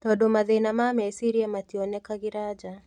Tondũ mathĩna ma meciria mationekagĩra nja